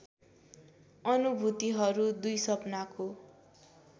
अनुभूतिहरू २ सपनाको